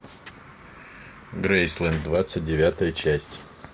грейсленд двадцать девятая часть